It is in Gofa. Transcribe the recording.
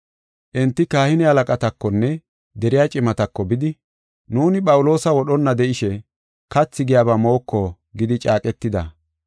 Enti kahine halaqatakonne deriya cimatako bidi, “Nuuni Phawuloosa wodhonna de7ishe kathi giyaba mooko gidi caaqetida.